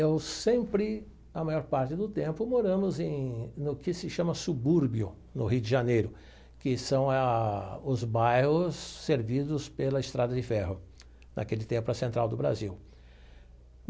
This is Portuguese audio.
Eu sempre, a maior parte do tempo, moramos em no que se chama subúrbio, no Rio de Janeiro, que são a os bairros servidos pela estrada de ferro, naquele tempo a central do Brasil.